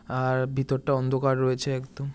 আর ভিতরটা অন্ধকার রয়েছে একদম।